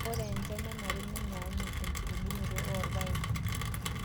Ore enchan nenare nenyaanyuk tenkitubulunoto oorpaek.